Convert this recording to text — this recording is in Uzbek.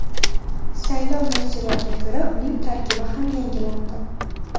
Saylov natijalariga ko‘ra uning tarkibi ham yangilandi.